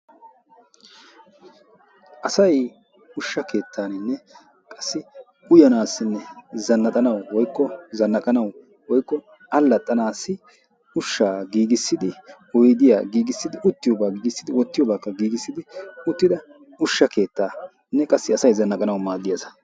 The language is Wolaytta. Asay ushsha keettanine qassi uyyanasine zannaxanawu woykko zannaqanawu woykko allaxanasi ushsha gigisidi oyddiya gigisidi uttiyoba gigisidi wottiyoba gigisidi uttida ushsha keettaa